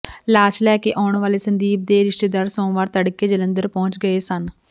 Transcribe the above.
ਲਾਸ਼ ਲੈ ਕੇ ਆਉਣ ਵਾਲੇ ਸੰਦੀਪ ਦੇ ਰਿਸ਼ਤੇਦਾਰ ਸੋਮਵਾਰ ਤੜਕੇ ਜਲੰਧਰ ਪਹੁੰਚ ਗਏ ਸਨ